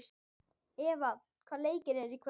Eva, hvaða leikir eru í kvöld?